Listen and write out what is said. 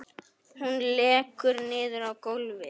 Hún lekur niður á gólfið.